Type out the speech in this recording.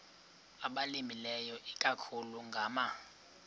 abalimileyo ikakhulu ngama